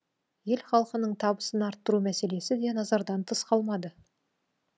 ел халқының табысын арттыру мәселесі де назардан тыс қалмады